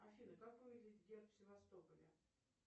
афина как выглядит герб севастополя